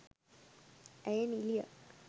ඇය නිළියක්